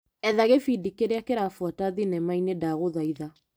Etha gĩbindi kĩrĩa kĩrabuata thinema-inĩ ndagũthaitha .